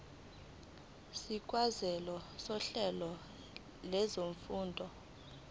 sikazwelonke sohlelo lwezifundo